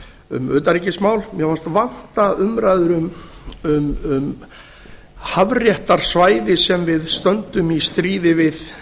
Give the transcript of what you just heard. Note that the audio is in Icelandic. um utanríkismál mér fannst vanta umræður um hafréttarsvæði sem við stöndum í stríði við